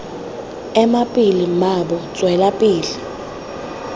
ema pele mmaabo tswela pele